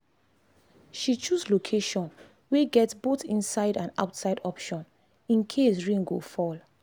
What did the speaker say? she choose location wey get both inside and outside option in case rain go fall